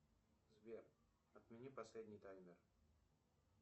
сбер отмени последний таймер